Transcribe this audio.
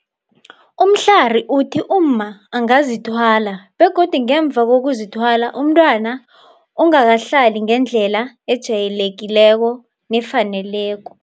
Mhlari uthi umma angazithwala godu ngemva kokuzithwala umntwana ongakahlali ngendlela ejayelekileko nefaneleko.